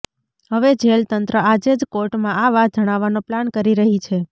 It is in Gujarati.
હવે જેલ તંત્ર આજે જ કોર્ટમાં આ વાત જણાવવાનો પ્લાન કરી રહી છે